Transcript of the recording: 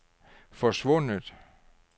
forsvundet